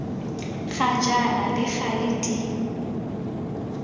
ga jaana le gale di